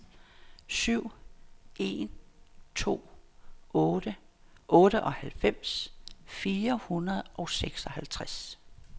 syv en to otte otteoghalvfems fire hundrede og seksoghalvtreds